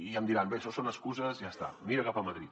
i em diran bé això són excuses ja està mira cap a madrid